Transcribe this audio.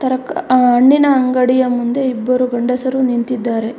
ತರಕ್- ಅ- ಹಣ್ಣಿನ ಅಂಗಡಿ ಮುಂದೆ ಇಬ್ಬರು ಗಂಡಸರು ನಿಂತಿದ್ದಾರೆ.